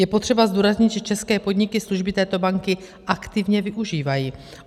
Je potřeba zdůraznit, že české podniky služby této banky aktivně využívají.